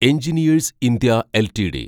engineers India LTD